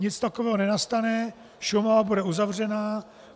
Nic takového nenastane, Šumava bude uzavřená.